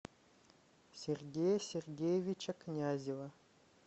сергея сергеевича князева